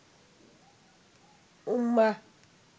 উম্মাহ